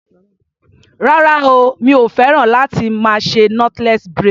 Rárá o, mi ò féràn láti más ṣe knotless braid.